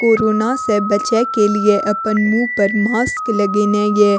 Corona से बचे के लिए अपन मुँह पर मास्क लगेना या।